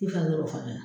I falo fana